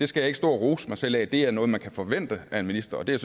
skal stå og rose mig selv af for det er noget man kan forvente af en minister og det